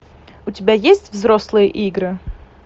у тебя есть взрослые игры